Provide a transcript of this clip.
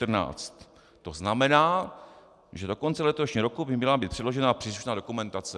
To znamená, že do konce letošního roku by měla být předložena příslušná dokumentace.